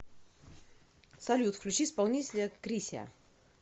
салют включи исполнителя крисиа